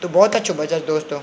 तो भौत अच्छु बजल दोस्तों।